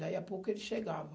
Daí a pouco ele chegava.